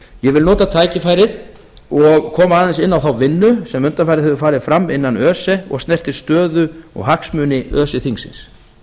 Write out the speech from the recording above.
vil nota tækifærið og aðeins koma inn á þá vinnu sem undanfarið hefur farið fram innan öse og snertir stöðu og hagsmuni öse þingsins